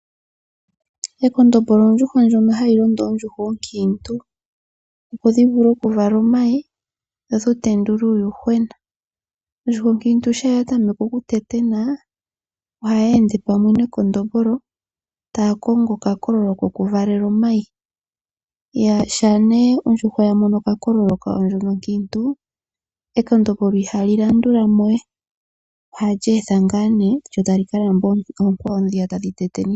Ekondombolo ondjuhwa ndjono hayi londo oondjuhwa ookiintu opo dhivule okuvala omayi dho dhi tendule uuyuhwena. Ondjuhwa okiintu shampa ya tameke oku tetena ohayi ende pamwe nekondombolo taya kongo oka kololo kokuvalela omayi ,shampa ondjuhwa ya mono okakolo ndjono okiintu ekondombolo ihali landulamo we ohali etha ngaa nee lyo tali kalamba oonkwawo dhi tadhi tetena.